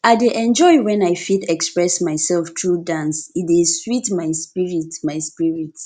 i dey enjoy when i fit express myself through dance e dey sweet my spirit my spirit